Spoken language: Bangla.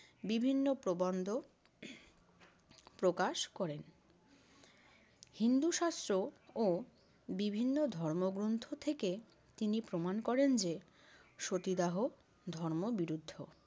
বিভিন্ন প্রবন্ধ প্রকাশ করেন। হিন্দু শাস্ত্র ও বিভিন্ন ধর্মগ্রন্থ থেকে তিনি প্রমাণ করেন যে, সতীদাহ ধর্ম বিরুদ্ধ